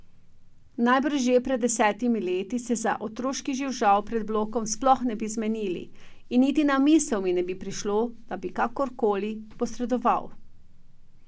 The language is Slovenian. Najbrž že, pred desetimi leti se za otroški živžav pred blokom sploh ne bi zmenil in niti na misel mi ne bi prišlo, da bi kakorkoli posredoval.